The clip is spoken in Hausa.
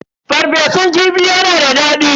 Farfesun kifi yana da daɗi.